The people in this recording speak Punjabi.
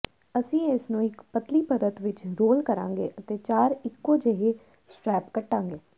ਅਸੀਂ ਇਸਨੂੰ ਇੱਕ ਪਤਲੀ ਪਰਤ ਵਿਚ ਰੋਲ ਕਰਾਂਗੇ ਅਤੇ ਚਾਰ ਇੱਕੋ ਜਿਹੇ ਸਟ੍ਰੈਪ ਕੱਟਾਂਗੇ